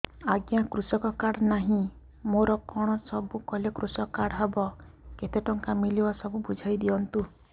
ଆଜ୍ଞା କୃଷକ କାର୍ଡ ନାହିଁ ମୋର କଣ ସବୁ କଲେ କୃଷକ କାର୍ଡ ହବ କେତେ ଟଙ୍କା ମିଳିବ ସବୁ ବୁଝାଇଦିଅନ୍ତୁ